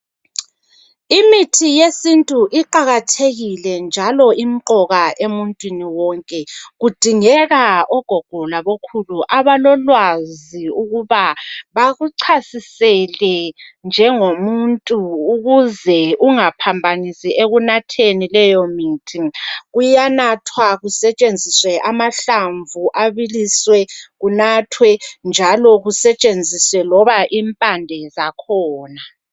imithi yesintu iqakathekile njaklo imqoka emuntwini wonke kudingeka ogogo labokhulu abalolwazi ukuba bakuchasisele njengomuntu ukuze ungaphambanisi ekunatheni leyo mithi kuyanathwa kusetshenziswe amahlamvu abiliswe kunathwe njalo kusetshenziswe loba impande zakhona